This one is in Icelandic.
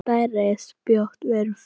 Og stærri spjót voru fengin.